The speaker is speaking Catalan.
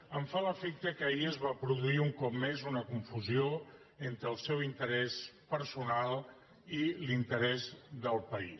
em fa l’efecte que ahir es va produir un cop més una confusió entre el seu interès personal i l’interès del país